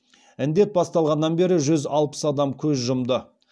індет басталғаннан бері жүз алпыс адам көз жұмды